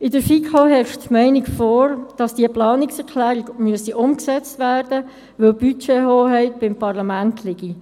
In der FiKo herrscht die Meinung vor, die Planungserklärung müsse umgesetzt werden, weil die Budgethoheit beim Parlament liege.